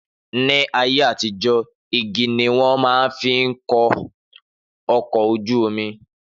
Ni ayé àtijó igi ni wọn máa fín kó ọkọ̀ ojú omi